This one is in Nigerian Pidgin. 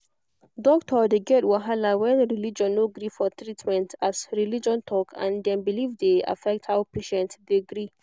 doctor dey get wahala when religion no gree for treatment as religion talk and dem belief de affect how patient de gree